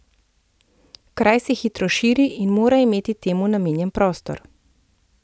Kraj se hitro širi in mora imeti temu namenjen prostor.